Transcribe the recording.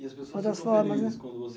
E as pessoas Outras formas né